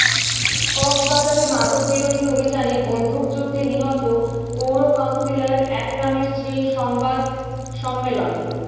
কক্সবাজারে মাদক বিরোধী অভিযানে বন্দুকযুদ্ধে নিহত পৌর কাউন্সিলর একরামের স্ত্রীর সংবাদ সম্মেলন